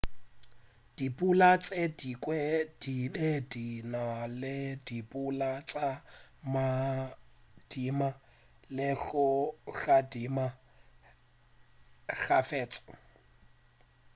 dipula tše dingwe di be di na le dipula tša magadima le go gadima kgafetša